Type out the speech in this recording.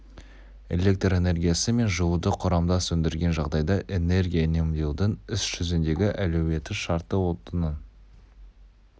электрэнергиясы мен жылуды құрамдас өндірген жағдайда энергия үнемдеудің іс жүзіндегі әлеуеті шартты отынның